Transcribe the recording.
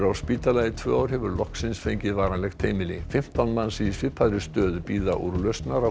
á spítala í tvö ár hefur loksins fengið varanlegt heimili fimmtán manns í svipaðri stöðu bíða úrlausnar á